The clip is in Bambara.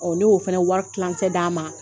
Ɔ ne y'o fana wari tilancɛ d'a ma